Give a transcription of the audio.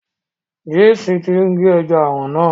James tí n ge ẹja aràn náà.